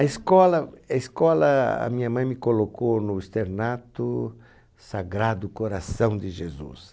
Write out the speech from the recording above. A escola, é escola, a minha mãe me colocou no externato Sagrado Coração de Jesus.